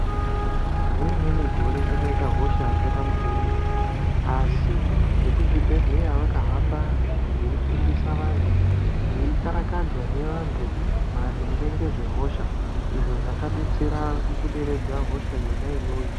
Nerimweni gore kwakaita hosha yakaita mukurumbira asi vekuzvibhedhleya vakahamba veifundisa vantu veikarakadzahe vantu maringe nezvehosha izvo zvakabetsera mukuderedza hosha yona iyoyo.